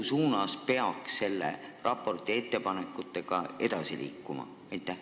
Mis suunas peaks selle raporti ettepanekutega edasi liikuma?